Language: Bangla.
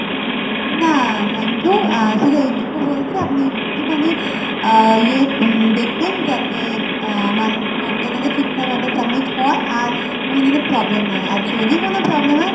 না, thank you শুধু এইটুকু বলছি আপনি আহ ইয়ে একটুখানি দেখবেন যাতে আহ আমার form টা যাতে ঠিকঠাকভাবে submit হয় আর কোনও যাতে problem না হয় আর যদি কোনো problem হয়